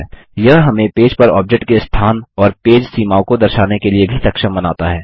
यह हमें पेज पर ऑब्जेक्ट के स्थान और पेज सीमाओं को दर्शाने के लिए भी सक्षम बनाता है